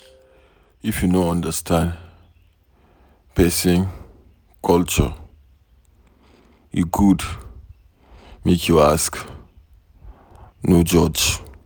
If you no understand pesin culture, e good make you ask no judge.